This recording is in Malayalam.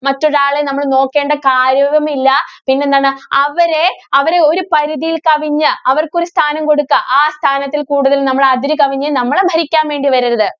മറ്റൊരാളെ നമ്മള് നോക്കേണ്ട കാര്യവുമില്ല. പിന്നെന്താണ് അവരെ, അവരെ ഒരു പരിധിയില്‍ കവിഞ്ഞ് അവര്‍ക്ക് ഒരു സ്ഥാനം കൊടുത്താ ആ സ്ഥാനത്തില്‍ കൂടുതല്‍ നമ്മള് അതിര് കവിഞ്ഞ് നമ്മളെ ഭരിക്കാന്‍ വേണ്ടി വരരുത്,